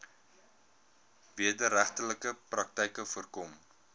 wederregtelike praktyke voorkom